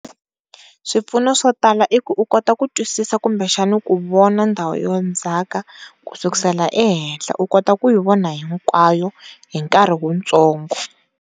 Swipfuno swo tala iku u kota ku twisisa kumbe xani ku vona ndhawu yo ndzhaka ku sukisela ehenhla u kota kuyi vona hinkwayo hi nkarhi wu ntsongo.